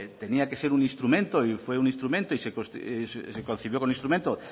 tenía que ser un instrumento y fue un instrumento y se concibió como un instrumento